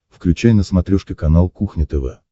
включай на смотрешке канал кухня тв